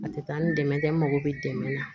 A tɛ taa ni dɛmɛ ye dɛ n mago bɛ dɛmɛ na